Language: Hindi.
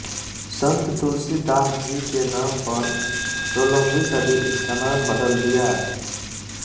संत तुलसी दास जी के नाम पर सोलहवीं सदी इसका नाम बदल दिया